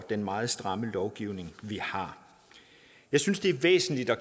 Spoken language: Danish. den meget stramme lovgivning vi har jeg synes det er væsentligt at